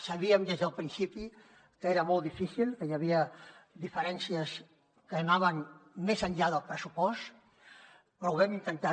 sabíem des del principi que era molt difícil que hi havia diferències que anaven més enllà del pressupost però ho vam intentar